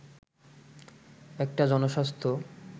একটা জনস্বাস্থ্য